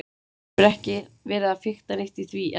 Þú hefur ekki verið að fikta neitt í því, er það?